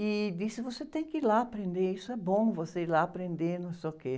e disse, você tem que ir lá aprender, isso é bom, você ir lá aprender, não sei o quê.